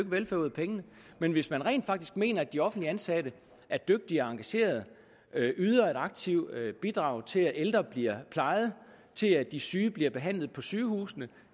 velfærd ud af pengene men hvis man rent faktisk mener at de offentligt ansatte er dygtige og engagerede yder et aktivt bidrag til at ældre bliver plejet til at de syge bliver behandlet på sygehusene